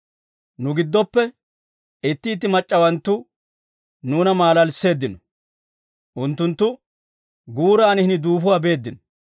Nu giddoppe itti itti mac'c'awanttu nuuna maalalisseeddino. Unttunttu guuraan hini duufuwaa beeddino,